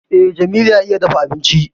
Eh, Jamilu ya iya dafa abinci